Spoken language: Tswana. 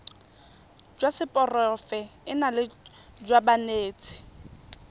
jwa seporofe enale jwa banetshi